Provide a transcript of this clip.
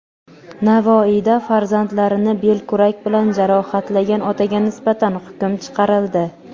Navoiyda farzandlarini belkurak bilan jarohatlagan otaga nisbatan hukm chiqarildi.